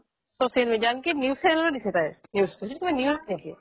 social media আনকি news channel টো দিছে তাইৰ news টো এইটো কিবা news নেকি